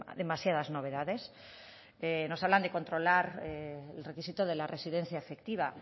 demasiadas novedades nos hablan de controlar el requisito de la residencia efectiva